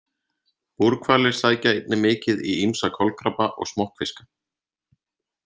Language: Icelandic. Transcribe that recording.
Búrhvalir sækja einnig mikið í ýmsa kolkrabba og smokkfiska.